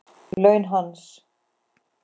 Laun hans?